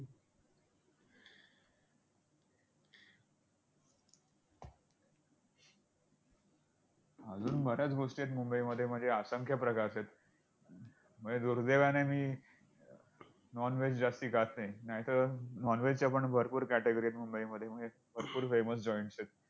अजून बऱ्याच गोष्टी आहेत मुंबईमध्ये म्हणजे असंख्य प्रकार आहेत. म्हणजे दुर्दैवाने मी non veg जास्ती खात नाही नाहीतर non veg च्या पण भरपूर category आहेत मुंबईमध्ये म्हणजे भरपूर famous joints आहेत.